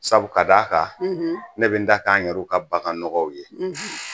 Sabu ka d'a kan ne bɛ n ta k'an yɛrɛw ka bagannɔgɔw ye